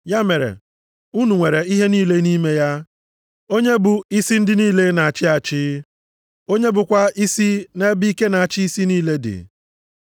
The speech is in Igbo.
Ya mere, unu nwere ihe niile nʼime ya, onye bụ isi ndị niile na-achị achị, onye bụkwa isi nʼebe ike na ịchị isi niile dị.